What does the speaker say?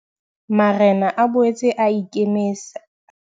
Marena a boetse a ikemise.